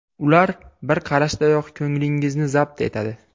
Ular bir qarashdayoq ko‘nglingizni zabt etadi.